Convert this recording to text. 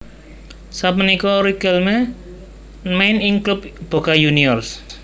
Sapunika Riquelme main ing klub Boca Juniors